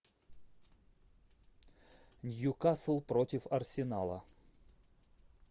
ньюкасл против арсенала